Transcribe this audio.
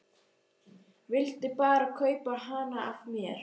Vildi bara kaupa hana af mér!